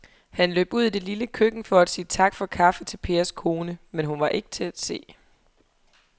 Han løb ud i det lille køkken for at sige tak for kaffe til Pers kone, men hun var ikke til at se.